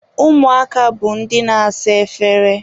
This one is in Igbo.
Ụmụaka bụ ndị na-asa efere.